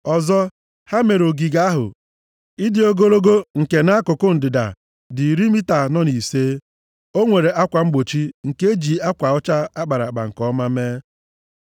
Ọzọ, ha mere ogige ahụ. Ịdị ogologo nke nʼakụkụ ndịda dị iri mita anọ na ise. O nwere akwa mgbochi nke e ji ezi akwa ọcha a kpara nke ọma mee.